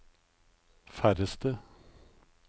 færreste